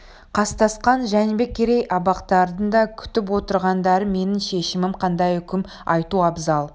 қастасқан жәнібек керей абақтардың да күтіп отырғандары менің шешімім қандай үкім айту абзал